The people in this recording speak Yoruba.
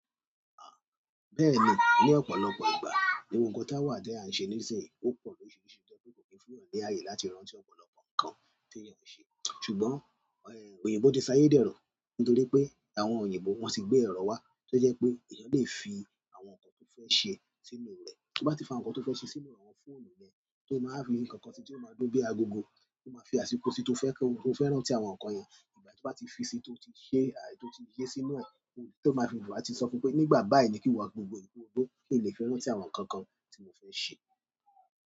Bẹ́ẹ̀ni, ni ọ̀pọ̀lọpọ̀ ìgbà, gbogbo nkan to wa ti a n se nísinsìnyí, o po lorisirisi ti o je pe ko ni fún eyan ni aye láti rántí ọ̀pọ̀lọpọ̀ nkan ti eeyan n se. Ṣùgbọ́n, oyinbo ti ṣáyé dẹ́ro, nítorí pé àwọn oyinbo wọ́n ti gbé èrọ wá, tó jẹ́ pé èèyàn lè fi àwọn ńkan tó fẹ́ ṣe sínú rẹ̀. Tí ó bá ti fi àwọn ńkan tó fẹ́ ṣe sínú àwọn fóònù rẹ̀, tó máa wa fi n kankan sí i tí ó máa ń dùn bíi agogo, tó máa fi àsìkò si tí ó fẹ́ rántí àwọn ńkan yẹn, ìgbà tí ó bá ti fi sí i tó ti ṣe, tó ti yé sínú e rẹ̀, tó máa fi lù wà ti sọ pé nígbà báyìí ni kíwo agogo yì ko dùn kì n lè fẹ́ rántí àwọn ńkan kan tí mo fẹ́ ṣe.